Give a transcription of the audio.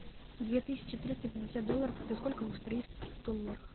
две тысячи триста пятьдесят долларов это сколько в австралийских долларах